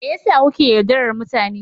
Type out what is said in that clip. Me yasa kuke yaudarar mutane.